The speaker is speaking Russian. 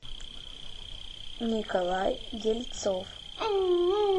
николай дельцов